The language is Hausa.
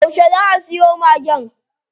Yauce zaa a siyo Magen?